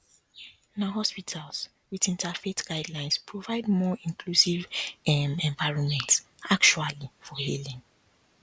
na hospitals with interfaith guidelines provide more inclusive um environments actually for healing